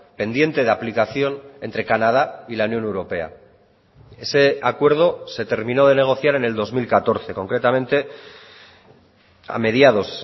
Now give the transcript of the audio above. pendiente de aplicación entre canadá y la unión europea ese acuerdo se terminó de negociar en el dos mil catorce concretamente a mediados